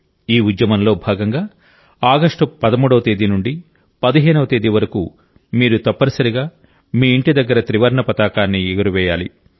ఈ ఉద్యమంలో భాగంగా ఆగస్టు 13వ తేదీ నుండి 15వ తేదీ వరకు మీరు తప్పనిసరిగా మీ ఇంటి దగ్గర త్రివర్ణ పతాకాన్ని ఎగురవేయాలి